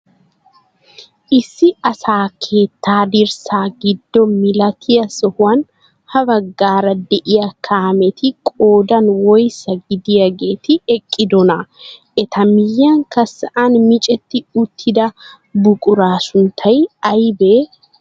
Issi asa keettaa dirssa giddo milatiyaa sohuwaan ha baggaara de'iyaa kaameti qoodan woysaa gidiyaageti eqqidonaa? Eta miyiyaanikka sa'aan micetti uttida buquraa sunttay aybee?